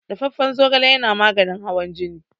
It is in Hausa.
Dafaffan zogale yana maganin hawan jini.